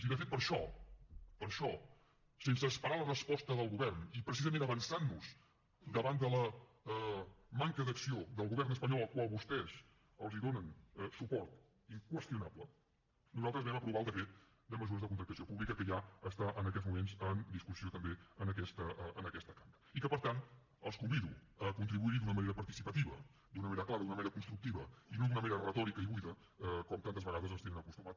i de fet per això per això sense esperar la resposta del govern i precisament avançant nos davant de la manca d’acció del govern espanyol al qual vostès donen suport inqüestionable nosaltres vam aprovar el decret de mesures de contractació pública que ja està en aquests moments en discussió també en aquesta cambra i que per tant els convido a contribuir hi d’una manera participativa d’una manera clara d’una manera constructiva i no d’una manera retòrica i buida com tantes vegades ens tenen acostumats